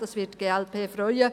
Das wird die glp freuen.